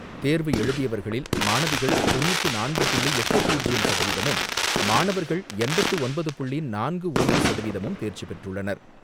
தேர்வு எழுதியவர்களில் மாணவிகள் தொண்ணூற்று நான்கு புள்ளி எட்டு பூஜ்ஜியம் சதவீதமும், மாணவர்கள் எண்பத்து ஒன்பது புள்ளி நான்கு ஒன்று சதவீதமும் தேர்ச்சி பெற்றுள்ளனர்.